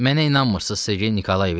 Mənə inanmırsız Sergey Nikolayeviç?